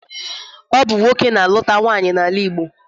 Ọ bụ nwoke na-aluta nwaanyị n'ala Igbo.